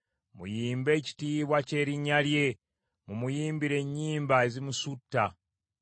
Muyimbe ekitiibwa ky’erinnya lye. Mumuyimbire ennyimba ezimusuuta.